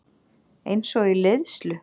Einsog í leiðslu.